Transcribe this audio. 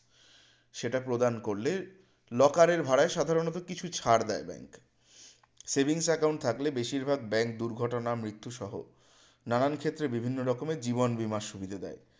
সেটা প্রদান করলে locker এর ভাড়ায় সাধারণত কিছু ছাড় দেয় bank savings account থাকলে বেশিরভাগ bank দুর্ঘটনা মৃত্যু সহ নানান ক্ষেত্রে বিভিন্ন রকমের জীবন বীমার সুবিধা দেয়